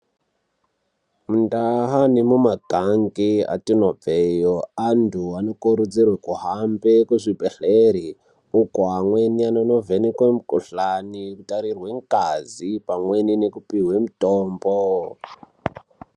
Mundaa nemumagange atinobveyo, antu anokurudzirwe kuhambe kuzvibhedhlere uko amweni anonovhenekwe mukuhlani otarirwe ngazi pamwe nekupiwe mutombo.